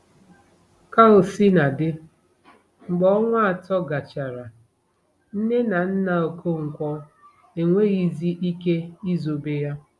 Ka o sina dị, mgbe ọnwa atọ gachara, nne na nna Okonkwo enweghịzi ike izobe ya.